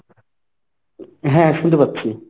হ্যাঁ শুনতে পাচ্ছি।